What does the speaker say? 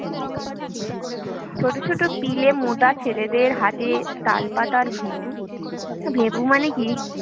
ছোট ছোট পিলে মোটা ছেলেদের হাতে তালপাতার ভেঁপু, তো ভেপু মানে কী?